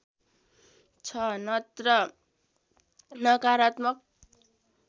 छ नत्र नकारात्मक